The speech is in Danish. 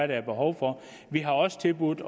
der er behov for vi har også tilbudt